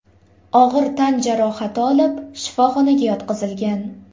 og‘ir tan jarohati olib, shifoxonaga yotqizilgan.